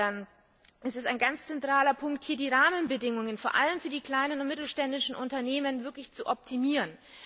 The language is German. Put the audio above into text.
Insofern ist es ein ganz zentraler Punkt, hier die Rahmenbedingungen vor allem für die kleinen und mittelständischen Unternehmen tatsächlich zu optimieren.